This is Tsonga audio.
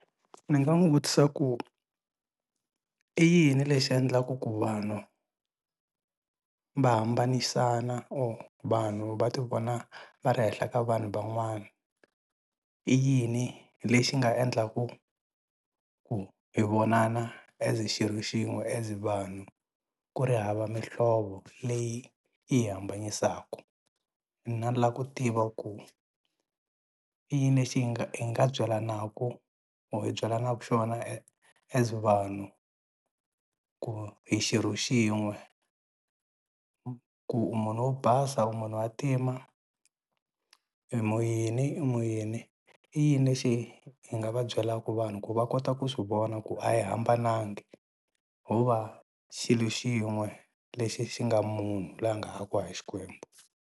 Ni nga n'wu vutisa ku i yini lexi endlaka ku vanhu va hambanisana or vanhu va ti vona va ri henhla ka vanhu van'wanai i yini lexi nga endlaka ku hi vonana as xirho xin'we as vanhu ku ri hava mihlovo leyi yi hi hambanisaka mina ni la ku tiva ku i yini lexi hi nga hi nga byalanaku or hi byelanaku xona as vanhu ku hi xirho xin'we ku munhu wo basa u munhu wa ntima i mu yini i mu yini i yini lexi hi nga va byelaka vanhu ku va kota ku swi vona ku a hi hambanangi ho va xilo xin'we lexi xi nga munhu loyi a nga akiwa hi Xikwembu.